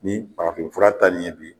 Ni farafinfura ta ni ye bi